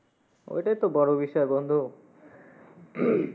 ওইটাই তো বড় বিষয় বন্ধু